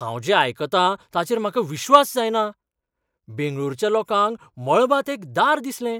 हांव जें आयकतां ताचेर म्हाका विश्वास जायना! बेंगळूरच्या लोकांक मळबांत एक दार दिसलें!